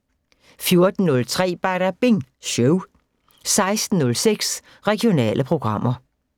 14:03: Badabing Show 16:06: Regionale programmer